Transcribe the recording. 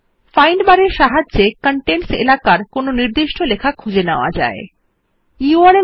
we can find specific text which is within the contents area with the help of the find bar